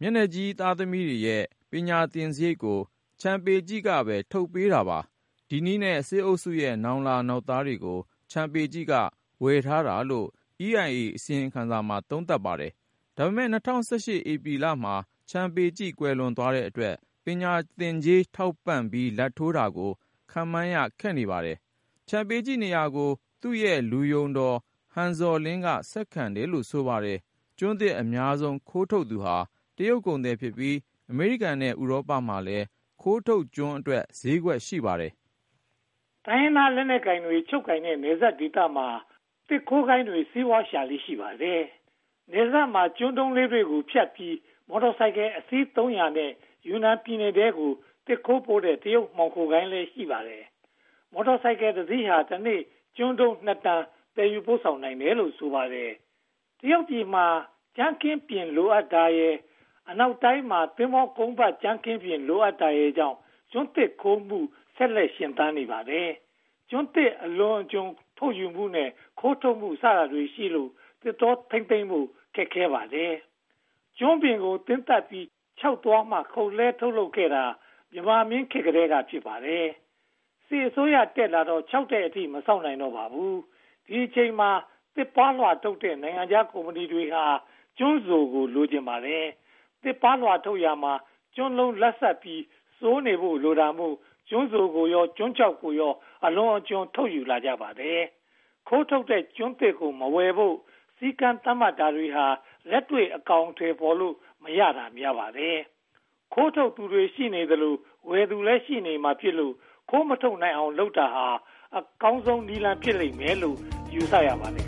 မျက်နှာကြီးသားသမီးတွေရဲ့ ပညာသင်စရိတ်ကို ချန်ပေကျိ က ထုတ်ပေးပါတယ်။ ဒီနည်းလမ်းနဲ့ စစ်အုပ်စုရဲ့ နောင်လာနောင်သားတွေကို ချန်ပေကျိ က ဝယ်ထားတာလို့ EIA အစီရင်ခံစာမှာ သုံးသပ်ထားပါတယ်။ ဒါပေမဲ့ ၂၀၁၈ မှာ ချန်ပေကျိ ကွယ်လွန်သွားတဲ့အတွက် ပညာသင်ကြေး ထောက်ပံ့လာဘ်ထိုးတာကို ခန့်မှန်းရခက်နေပါတယ်။ ချန်ပေကျိနေရာကို သူ့ရဲ့လူယုံတော် ဟန်ဇော်လင်းက ဆက်ခံတယ်လို့ ဆိုပါတယ်။ ကျွန်းသစ်အများဆုံး ခိုးထုတ်သူဟာ တရုတ်ကုန်သည်များဖြစ်ပြီး အမေရိကန်နဲ့ ဥရောပမှာလည်း ခိုးထုတ်ကျွန်းတွေအတွက် ဈေးကွက်ရှိပါတယ်။ တိုင်းရင်းသားလက်နက်ကိုင်တွေ ချုပ်ကိုင်ထားတဲ့ နယ်စပ်ဒေသတွေမှာ သစ်ခိုးဂိုဏ်းတွေ စီးပွားရှာလေ့ ရှိပါတယ်။ နယ်စပ်မှာ ကျွန်းတုံးလေးတွေဖြတ်ပြီး မော်တော်ဆိုင်ကယ်အစီး (၃၀၀) နဲ့ ယူနန်ပြည်နယ်ထဲကို သစ်ခိုးပို့တဲ့ တရုတ်မှောင်ခိုဂိုဏ်းလည်း ရှိပါတယ်။ မော်တော်ဆိုင်ကယ်တစီးဟာ တနေ့ ကျွန်းတုံး (၂) တန် သယ်ယူပို့ဆောင်နိုင်ပါတယ်။ တရုတ်ပြည်မှာ ကြမ်းခင်းပျဉ် လိုအပ်တာရယ်၊ အနောက်တိုင်းမှာ သင်္ဘောကုန်းပတ်ကြမ်းခင်းပျဉ် လိုအပ်တာရယ်ကြောင့် ကျွန်းသစ်ခိုးထုတ်မှု ဆက်လက်ရှင်သန်နေပါတယ်။ ကျွန်းသစ်အလွန်အကျွံ ထုတ်ယူမှုနဲ့ ခိုးထုတ်မှုစတာတွေရှိလို့ သစ်တောထိန်းသိမ်းဖို့ ခက်ပါတယ်။ ကျွန်းပင်ကို သင်းသတ်ပြီး ခြောက်သွားမှာ ခုတ်လဲှထုတ်လုပ်ခဲ့တာ မြန်မာမင်းများလက်ထက်ကတည်းက ဖြစ်ပါတယ်။ စစ်အစိုးရတက်လာတော့ ခြောက်တဲ့အထိ မစောင့်နိုင်တော့ပါဘူး။ ဒီအချိန်မှာ သစ်ပါးလွှာထုတ်လုပ်တဲ့ နိုင်ငံခြားကုမ္ပဏီတွေက ကျွန်းစိုကို လိုချင်ကြပါတယ်။ သစ်ပါးလွှာထုတ်လုပ်ရာမှာ ကျွန်းလုံးလတ်ဆတ်ပြီး စိုနေဖို့ လိုတာမို့ ကျွန်းစိုကိုရော ကျွန်းခြောက်ကိုပါ အလွန်အကျွံ ထုတ်ယူလာကြပါတယ်။ ခိုးထုတ်တဲ့ကျွန်းသစ်ကို မဝယ်ဖို့ စည်းကမ်းသတ်မှတ်တာတွေဟာ လက်တွေ့အကောင်အထည် ဖော်လို့မရတာ များပါတယ်။ ခိုးထုတ်သူရှိနေသရွေ့ ဝယ်သူလည်း ရှိနေမှာဖြစ်လို့ ခိုးမထုတ်နိုင်အောင် လုပ်တာဟာ အကောင်းဆုံးနည်းလမ်း ဖြစ်လိမ့်မယ်လို့ ယူဆရပါတယ်